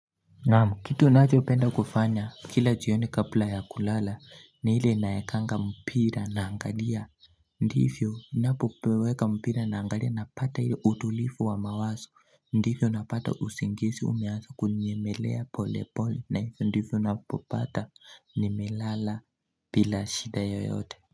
Naamu kitu nachopenda kufanya kila jioni kapla ya kulala ni ile naekanga mpira naangalia Ndivyo napopeweka mpira naangalia napata ile utulifu wa mawaso Ndivyo napata usingisi umeansa kunyemelea pole pole na hivyo ndivyo napopata nimelala bila shida yoyote.